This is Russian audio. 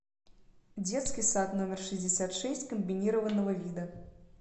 детский сад номер шестьдесят шесть комбинированного вида